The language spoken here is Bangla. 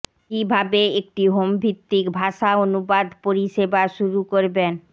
কিভাবে একটি হোম ভিত্তিক ভাষা অনুবাদ পরিষেবা শুরু করবেন